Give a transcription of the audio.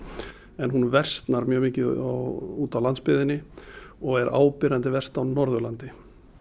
en hún versnar mjög mikið úti á landsbyggðinni og er áberandi verst á Norðurlandi